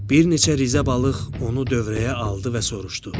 Bir neçə rizə balıq onu dövrəyə aldı və soruşdu.